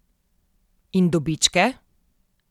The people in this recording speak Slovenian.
In dobičke?